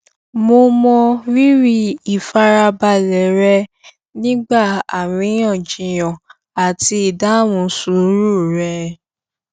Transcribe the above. mo mọ rírì ìfarabalẹ rẹ nígbà aríyànjiyàn àti ìdáhùn sùúrù rẹ